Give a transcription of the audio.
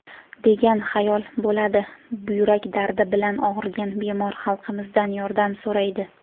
degan xayol bo‘ladi – buyrak dardi bilan og‘rigan bemor xalqimizdan yordam so‘raydi.